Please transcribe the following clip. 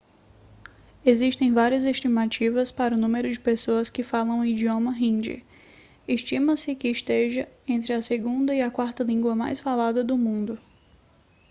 existem várias estimativas para o número de pessoas que falam o idioma hindi estima-se que seja entre a segunda e a quarta língua mais falada no mundo